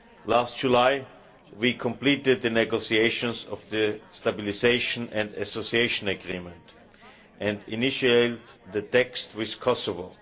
Last July we completed the negotiations of the Stabilisation and Association Agreement and initialled the text with Kosovo.